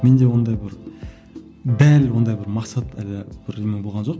менде ондай бір дәл ондай бір мақсат әлі бірдеме болған жоқ